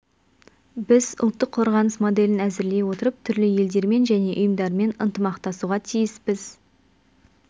біз ұлттық қорғаныс моделін әзірлей отырып түрлі елдермен және ұйымдармен ынтымақтасуға тиіспіз